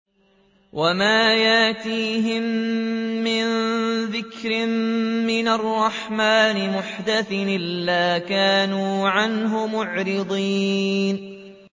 وَمَا يَأْتِيهِم مِّن ذِكْرٍ مِّنَ الرَّحْمَٰنِ مُحْدَثٍ إِلَّا كَانُوا عَنْهُ مُعْرِضِينَ